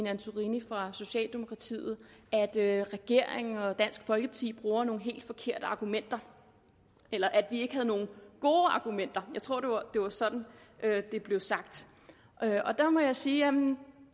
antorini fra socialdemokratiet at at regeringen og dansk folkeparti bruger nogle helt forkerte argumenter eller at vi ikke havde nogen gode argumenter jeg tror det var sådan det blev sagt der må jeg sige jamen